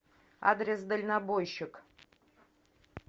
адрес дальнобойщик